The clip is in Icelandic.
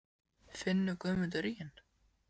Finnur Guðmundur ríginn?